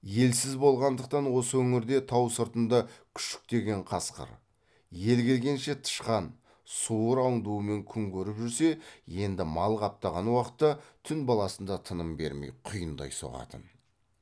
елсіз болғандықтан осы өңірде тау сыртында күшіктеген қасқыр ел келгенше тышқан суыр аңдуымен күн көріп жүрсе енді мал қаптаған уақытта түн баласында тыным бермей құйындай соғатын